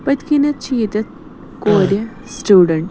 .پٔتھۍ کِنٮ۪تھ چھ ییٚتٮ۪تھ کورِ سِٹوٗڈنٹ